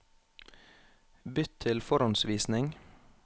Bytt til forhåndsvisning